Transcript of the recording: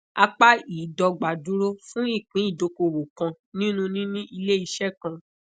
apá i idogba duro fun ipin idokowo kan ninu nini ileiṣẹ kan